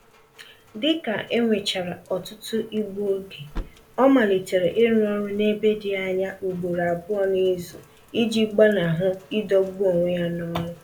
Dịka enwechara ọtụtụ igbu oge, ọ malitere ịrụ ọrụ n'ebe dị anya ugboro abụọ n'izu iji gbanahụ idọgbu onwe ya n'ọlụ